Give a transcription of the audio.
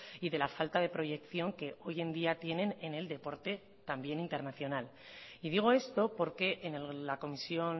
y de la falta de proyección que hoy en día tienen en el deporte también internacional y digo esto porque en la comisión